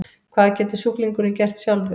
Hvað getur sjúklingurinn gert sjálfur?